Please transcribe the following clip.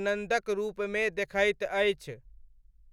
आनन्दक रूपमे देखैत अछि।